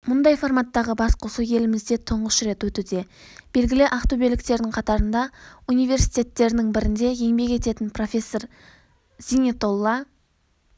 мұндай форматтағы басқосу елімізде тұңғыш рет өтуде белгілі ақтөбеліктердің қатарында университеттерінің бірінде еңбек ететін профессор зинетолла